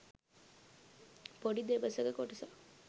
පොඩි දෙබසක කොටසක්